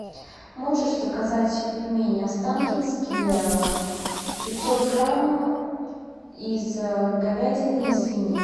можешь заказать пельмени останкинские пятьсот грамм из говядины и свинины